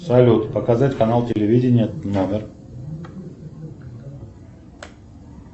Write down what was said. салют показать канал телевидения номер